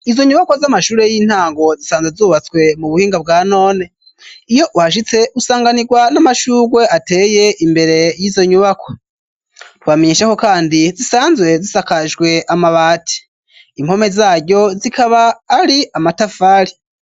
Izo nyubakwa z'amashure y'intango zisanzwe zubatswe mu buhinga bwa none. Iyo uhashitse usanganirwa n'amashugwe ateye imbere y'izo nyubakwa. Twobamenyesha ko kandi zisanzwe zisakajwe amabati. Impome zaryo zikaba ari amatafari.